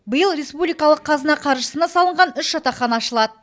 биыл республикалық қазына қаржысына салынған үш жатақхана ашылады